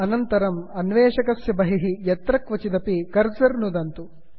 अनन्तरं अन्वेषकस्य बहिः यत्रक्वचिदपि क्रसर् नुदन्तु